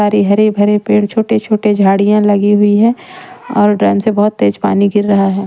सारे हरे भरे पेड़ छोटे-छोटे झाड़ियां लगी हुई हैं और ड्राम से बहुत तेज पानी गिर रहा है।